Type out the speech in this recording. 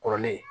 Kɔrɔlen